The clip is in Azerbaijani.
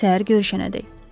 Səhər görüşənədək.